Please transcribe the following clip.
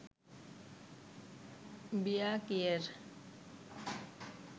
বিয়া কিয়ের